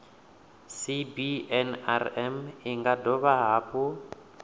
cbnrm i nga dovha hafhu